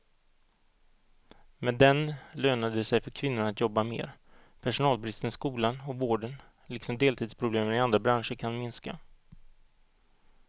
Med den lönar det sig för kvinnorna att jobba mer, personalbristen i skolan och vården liksom deltidsproblemen i andra branscher kan minska.